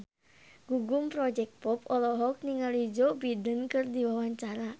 Gugum Project Pop olohok ningali Joe Biden keur diwawancara